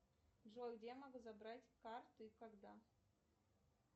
джой где я могу забрать карты и когда